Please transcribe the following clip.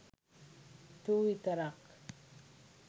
තු විතරක්